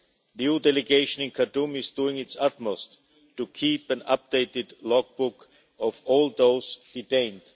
The EU delegation in Khartoum is doing its utmost to keep an updated logbook of all those detained.